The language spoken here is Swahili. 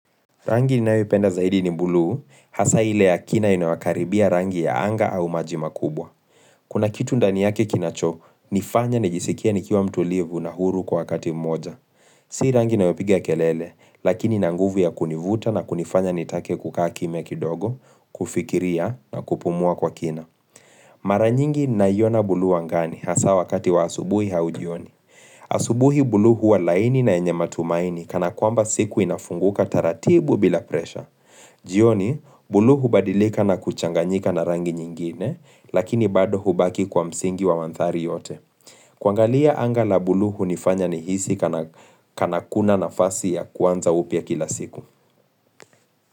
Rangi ninayo penda zaidi ni buluu, hasa ile ya kina inayokaribia rangi ya anga au maji makubwa. Kuna kitu ndani yake kinacho, nifanya nijisikia nikiwa mtulivu na huru kwa wakati mmoja. Si rangi inayopiga kelele, lakini ina nguvu ya kunivuta na kunifanya nitake kukaa kimya kidogo, kufikiria na kupumua kwa kina. Maranyingi naiona bulu angani, hasa wakati wa asubuhi au jioni. Asubuhi bulyu huwa laini na yenye matumaini, kana kwamba siku inafunguka taratibu bila presha. Jioni, buluu hubadilika na kuchanganyika na rangi nyingine, lakini bado hubaki kwa msingi wa mandhari yote. Kuangalia angaa la buluu hunifanya nihisi kana kuna nafasi ya kuanza upya kila siku.